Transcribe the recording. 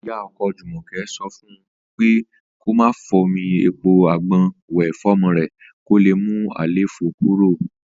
Ìyá o̩ko̩ Jùmò̩ké̩ so̩ fún un pé kó máa fomi èpo àgbo̩n wè̩ fọ́mo̩ rè̩ kó le mú àléfó̩ kúrò